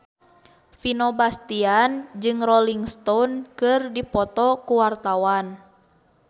Vino Bastian jeung Rolling Stone keur dipoto ku wartawan